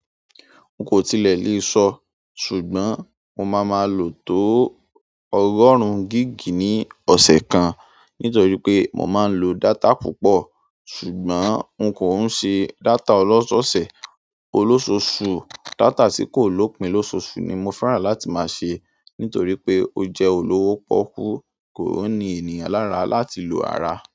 N kò tilẹ̀ lè sọ. Ṣùgbọ́n mo máa máa lò tó ọgọrun gig ní ọ̀se kan nítorí pé mo máa ń lo data púpọ̀. Ṣùgbọ́n n kò ń ṣe data ọlọ́ṣọ̀ọ̀sẹ̀. Olóṣòoṣù, data tí kò lopìn lóṣoòṣù ni mo fẹ́ràn láti máa ṣe nítorí pé ó jẹ́ olówó pọ́okú, kò n ní ènìyàn lára láti lo rara.